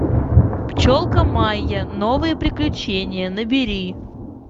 пчелка майя новые приключения набери